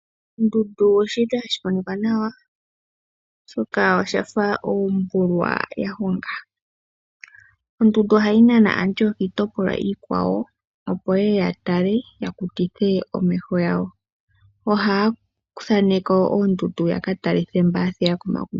Ondundu oyili hayi monika nawa, oshoka oyafa ombulwa ya honga. Ondundu ohayi nana aantu yo kiitopolwa iikwawo, opo yeye ya tale, ya kutithe omeho gawo. Ohaya thaneke oondundu ya katalithe mboka ya thiga komagumbo.